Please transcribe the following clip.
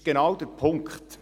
Das ist genau der Punkt.